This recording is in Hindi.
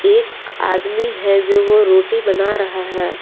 एक आदमी है जो वो रोटी बना रहा है।